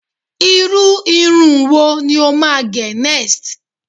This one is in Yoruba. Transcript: irú Irun wón ní o máa ge next?